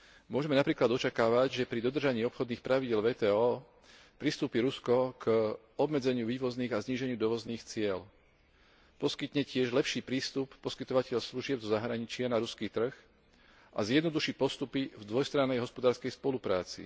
Môžeme napríklad očakávať, že pri dodržaní obchodných pravidiel WTO pristúpi Rusko k obmedzeniu vývozných a zníženiu dovozných ciel, poskytne tiež lepší prístup poskytovateľom služieb zo zahraničia na ruský trh a zjednoduší postupy v dvojstrannej hospodárskej spolupráci.